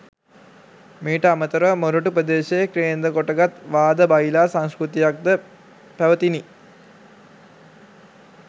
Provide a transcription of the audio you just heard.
මීට අමතරව මොරටු ‍ප්‍රදේශය කේන්ද්‍රකොටගත් වාද බයිලා සංස්කෘතියක්ද පැවතිණි.